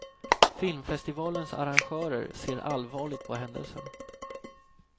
Filmfestivalens arrangörer ser allvarligt på händelsen.